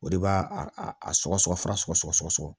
O de b'a a sɔgɔsɔgɔ fara sɔgɔsɔgɔ